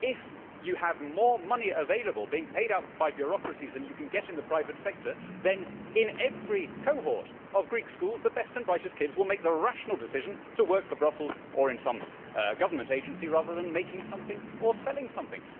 It is that if you have more money available and being paid out by bureaucracies than you can get in the private sector then, in every cohort of Greek schools, the best and brightest kids will make the rational decision to work for Brussels or in some government agency, rather than making something or selling something.